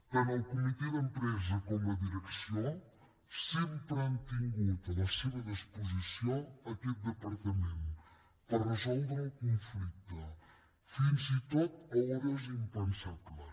tant el comitè d’empresa com la direcció sempre han tingut a la seva disposició aquest departament per resoldre el conflicte fins i tot a hores impensables